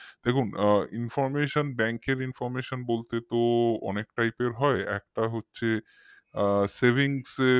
দেখুন informationbank র information বলতে তো অনেক type এর হয় একটা হচ্ছে আ savings এর